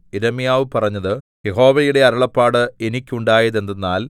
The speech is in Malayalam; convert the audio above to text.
യിരെമ്യാവ് പറഞ്ഞത് യഹോവയുടെ അരുളപ്പാട് എനിക്കുണ്ടായതെന്തെന്നാൽ